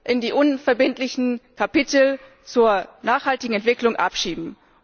nicht in die unverbindlichen Kapitel zur nachhaltigen Entwicklung abschieben.